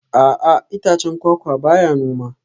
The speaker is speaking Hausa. A'a itacen kwakwa ba ya noma